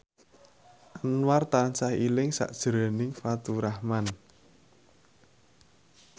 Anwar tansah eling sakjroning Faturrahman